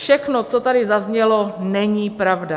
Všechno, co tady zaznělo, není pravda.